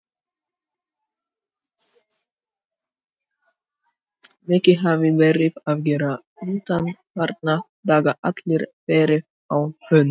Mikið hafði verið að gera undanfarna daga, allir verið á þönum.